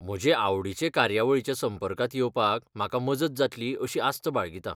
म्हजे आवडीचे कार्यावळीच्या संपर्कांत येवपाक म्हाका मदत जातली अशी आस्त बाळगितां.